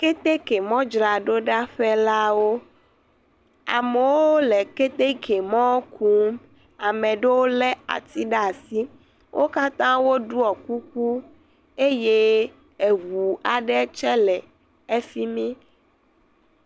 kɛtɛkɛ mɔ dzraɖo ɖa ƒɛ lawo amowo lɛ kɛtɛkɛ mɔ kum amɛɖɛwo lɛ ati ɖasi wókatã woɖuɔ kuku eye eʋu aɖe tsɛ lɛ ɛfimi